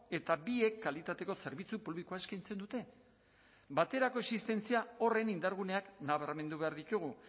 eta biek kalitateko zerbitzu publikoa eskaintzen dute baterako existentzia horren indarguneak nabarmendu behar ditugu